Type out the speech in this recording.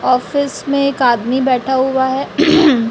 Office में एक आदमी बैठा हुआ है।